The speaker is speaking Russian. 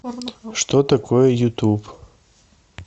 что такое ютуб